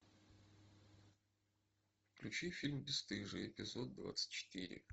включи фильм бесстыжие эпизод двадцать четыре